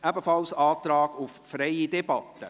Es ist ebenfalls ein Antrag auf freie Debatte.